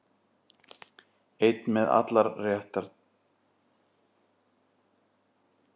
Einn með allar réttar